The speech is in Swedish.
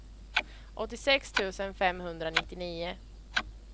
åttiosex tusen femhundranittionio